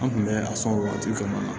An kun bɛ a sɔn o waati fana na